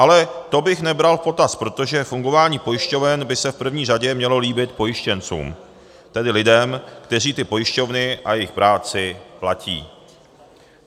Ale to bych nebral v potaz, protože fungování pojišťoven by se v první řadě mělo líbit pojištěncům, tedy lidem, kteří ty pojišťovny a jejich práci platí.